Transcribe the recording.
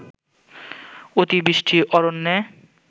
অতিবৃষ্টি অরণ্যে